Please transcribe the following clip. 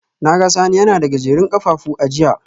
Na ga Sani yana da Gajerun kafafu a jiya